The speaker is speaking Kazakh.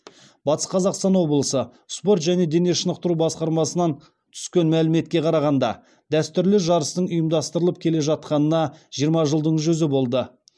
батыс қазақстан облысы спорт және дене шынықтыру басқармасынан түскен мәліметке қарағанда дәстүрлі жарыстың ұйымдастырылып келе жатқанына жиырма жылдың жүзі болды